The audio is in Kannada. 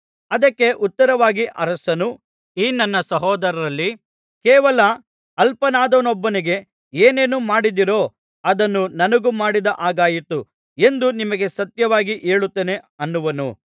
ಅದಕ್ಕೆ ಉತ್ತರವಾಗಿ ಅರಸನು ಈ ನನ್ನ ಸಹೋದರರಲ್ಲಿ ಕೇವಲ ಅಲ್ಪನಾದವನೊಬ್ಬನಿಗೆ ಏನೇನು ಮಾಡಿದಿರೋ ಅದನ್ನು ನನಗೂ ಮಾಡಿದ ಹಾಗಾಯಿತು ಎಂದು ನಿಮಗೆ ಸತ್ಯವಾಗಿ ಹೇಳುತ್ತೇನೆ ಅನ್ನುವನು